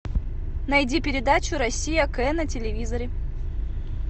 найди передачу россия к на телевизоре